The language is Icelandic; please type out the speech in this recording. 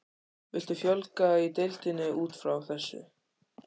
Viltu fjölga í deildinni útfrá þessu?